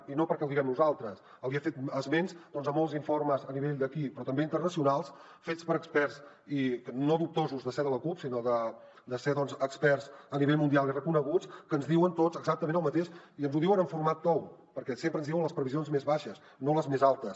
i no perquè ho diguem nosaltres li he fet esments de molts informes a nivell d’aquí però també internacionals fets per experts i no dubtosos de ser de la cup sinó de ser experts a nivell mundial i reconeguts que ens diuen tots exactament el mateix i ens ho diuen en format tou perquè sempre ens diuen les previsions més baixes no les més altes